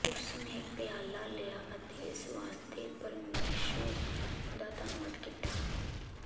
ਉਸਨੇ ਪਿਆਲਾ ਲਿਆ ਅਤੇ ਇਸ ਵਾਸਤੇ ਪਰਮੇਸ਼ੁਰ ਦਾ ਧੰਨਵਾਦ ਕੀਤਾ